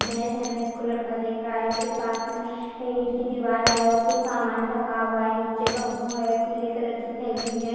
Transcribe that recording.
भेस है भेस को लड़का देख रहा है उसके पास में इट की दीवाल है और कुछ सामन रखा हुआ है निचे बंबू है पीले कलर की थैली है।